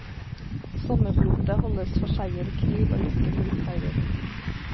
Sommerblotet holdes for seier i krig og lykke på utferder.